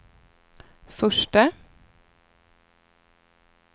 förste